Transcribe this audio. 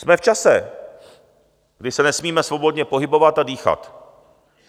Jsme v čase, kdy se nesmíme svobodně pohybovat a dýchat.